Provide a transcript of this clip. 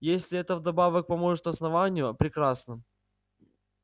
если это вдобавок поможет основанию прекрасно